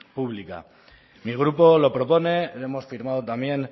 pública mi grupo lo propone lo hemos firmado también